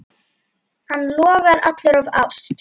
Hann logar allur af ást.